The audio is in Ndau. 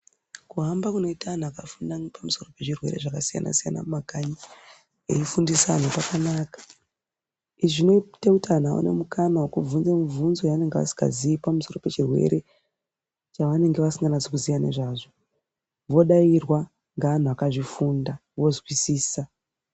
Kuhamba kunoita antu akafinda pamusoro pezvirwere zvakasiyana siyana mumakanyi veifundisa antu kwakanaka. Izvi zvinoite kuti antu aite mukana wekubvunze mibvunzo yeanenge asingaziyi pamusoro pechirwere chavanenge vasikanasi kuziya nezvazvo vodairwa ngevantu vakazvifunda vozwisisa.